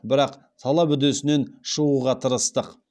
бірақ талап үдесінен шығуға тырыстық